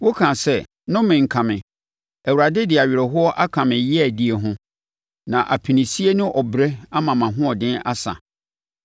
Wokaa sɛ, ‘Nnome nka me! Awurade de awerɛhoɔ aka me yeadie ho, na apinisie ne ɔbrɛ ama mʼahoɔden asa.’